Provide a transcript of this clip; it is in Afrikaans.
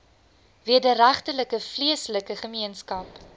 wederregtelike vleeslike gemeenskap